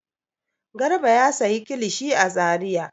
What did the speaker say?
Garba ya sayi kilishi a Zariya.